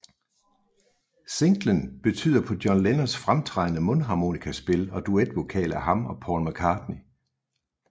Singlen byder på John Lennons fremtrædende mundharmonikaspil og duetvokal af ham og Paul McCartney